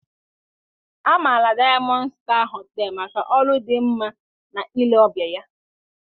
A maara Dayamọnd Staa Họtelụ maka ọrụ dị mma na ile ọbịa ya